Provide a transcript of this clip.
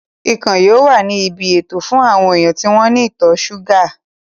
Ikàn yóò wà ní ibi ètò fún àwọn èèyàn tí wọ́n ní ìtọ̀ súgà